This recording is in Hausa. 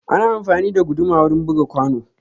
Ana amfani da guduma wurin buga kwano.